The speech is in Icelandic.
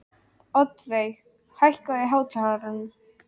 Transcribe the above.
Oddveig, hækkaðu í hátalaranum.